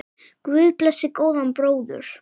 Guð blessi góðan bróður!